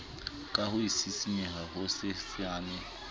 ka ho sisinyeha ho hosesane